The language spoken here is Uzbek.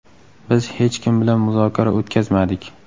Biz hech kim bilan muzokara o‘tkazmadik.